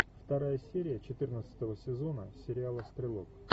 вторая серия четырнадцатого сезона сериала стрелок